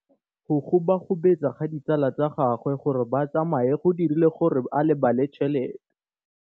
Go gobagobetsa ga ditsala tsa gagwe, gore ba tsamaye go dirile gore a lebale tšhelete.